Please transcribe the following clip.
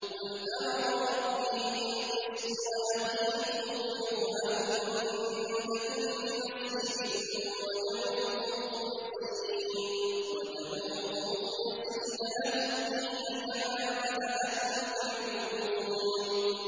قُلْ أَمَرَ رَبِّي بِالْقِسْطِ ۖ وَأَقِيمُوا وُجُوهَكُمْ عِندَ كُلِّ مَسْجِدٍ وَادْعُوهُ مُخْلِصِينَ لَهُ الدِّينَ ۚ كَمَا بَدَأَكُمْ تَعُودُونَ